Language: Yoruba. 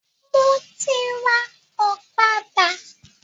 Mo ti rà ọ̀kadà